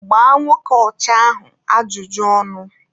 Gbaa nwoke ọcha ahụ ajụjụ ọnụ!